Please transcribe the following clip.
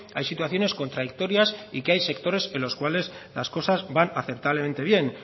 hay situaciones contradictorias y que hay sectores en los cuales las cosas van aceptablemente bien